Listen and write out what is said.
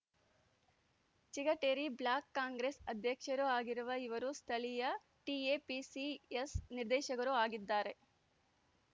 Chigateri block Congress ಅಧ್ಯಕ್ಷರೂ ಆಗಿರುವ ಇವರು ಸ್ಥಳೀಯ ಟಿಎಪಿಸಿಎಂಎಸ್‌ ನಿರ್ದೇಶಕರೂ ಆಗಿದ್ದಾರೆ